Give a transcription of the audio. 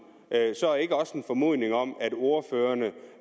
så ikke også en formodning om at ordførerne